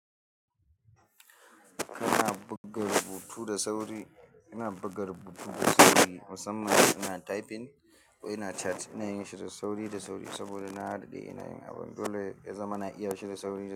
Ina buga rubutu da sauri, ina buga rubutu da sauri musamman ina typing ko ina chat, ina yin shi da sauri da sauri saboda na daɗe ina yin abun dole ya zama na iya shi da sauri da.